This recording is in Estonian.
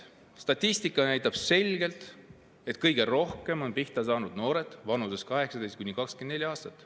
Statistika näitab selgelt, et kõige rohkem on pihta saanud noored vanuses 18–24 aastat.